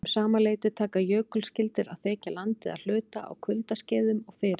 Um sama leyti taka jökulskildir að þekja landið að hluta á kuldaskeiðum og fyrir